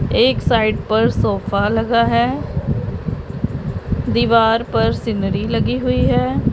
एक साइड पर सोफ़ा लगा है दीवार पर सिनरी लगी हुई है।